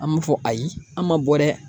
An b'a fɔ ayi an ma bɔ dɛ